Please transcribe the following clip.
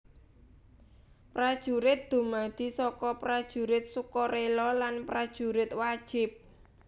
Prajurit dumadi saka Prajurit Sukarela lan Prajurit Wajib